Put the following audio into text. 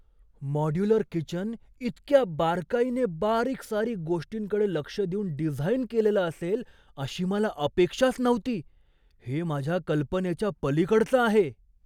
Modular kitchen इतक्या बारकाईने बारीकसारीक गोष्टींकडे लक्ष देऊन डिझाइन केलेलं असेल अशी मला अपेक्षाच नव्हती! हे माझ्या कल्पनेच्या पलीकडचं आहे.